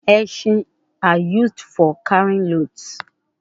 Esin are used for carrying loads